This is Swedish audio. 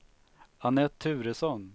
Annette Turesson